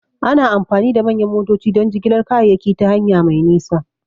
Ana amfani da manyan motoci don jigilar kayayyaki ta hanya mai nisa.